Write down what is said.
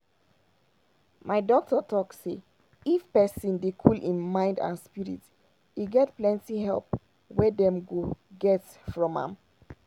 my doctor talk say if pesin dey cool im mind and spirit e get plenty help wey dem go get from am.